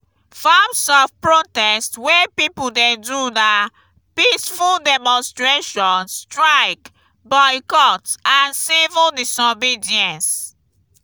forms of protest wey people dey do na peaceful demonstration strike boycott and civil disobedence.